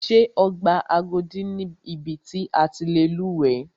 Ṣé ọgbà Agodi ni ibi ti a ti lè lúwẹ̀ẹ́.